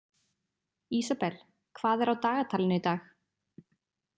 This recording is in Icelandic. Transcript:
Ísabel, hvað er á dagatalinu í dag?